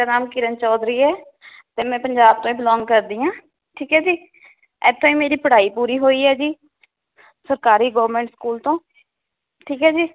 ਮੇਰਾ ਨਾਮ ਕਿਰਨ ਚੌਧਰੀ ਹੈ ਤੇ ਮੈ ਪੰਜਾਬ ਤੋਂ ਈ belong ਕਰਦੀ ਹਾਂ ਠੀਕ ਹੈ ਜੀ ਇਥੇ ਈ ਮੇਰੀ ਪੜ੍ਹਾਈ ਪੂਰੀ ਹੋਈ ਹੈ ਜੀ ਸਰਕਾਰੀ government school ਤੋਂ ਠੀਕ ਏ ਜੀ